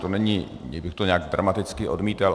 To není, že bych to nějak dramaticky odmítal.